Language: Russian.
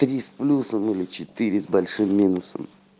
с плюсом или четыре с большим минусом